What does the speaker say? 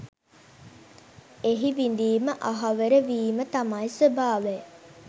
එහි විඳීම අහවර වීම තමයි ස්වභාවය.